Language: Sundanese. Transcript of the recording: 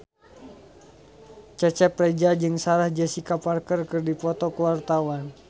Cecep Reza jeung Sarah Jessica Parker keur dipoto ku wartawan